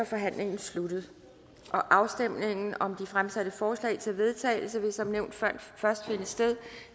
forhandlingen sluttet afstemningen om de fremsatte forslag til vedtagelse vil som nævnt først finde sted